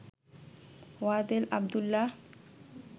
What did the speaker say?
Wadel Abdullah